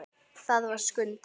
Það var Skundi.